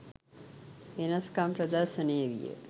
වෙනස්කම් ප්‍රදර්ශනය විය.